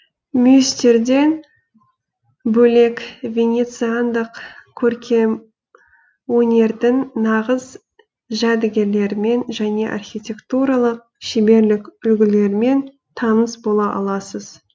мүйістерден бөлек венециандық көркем өнердің нағыз жәдігерлерімен және архитектуралық шеберлік үлгілерімен таныс бола аласыз